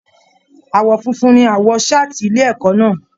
Aawọ fúnfún ní aawọ saati ilé ẹ̀kọ́ náà.